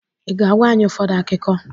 I ga-agwa anyị ụfọdụ ákíkó